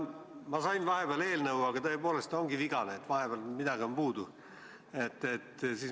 Ma sain vahepeal eelnõu, aga tõepoolest see ongi vigane, vahepealt on midagi puudu.